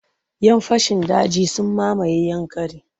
Yan fashin daji sun mamaye Yankari.